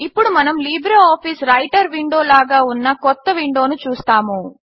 ఇప్పుడు మనము LibreOffice Writer window లాగా ఉన్న కొత్త విండోను చూస్తాము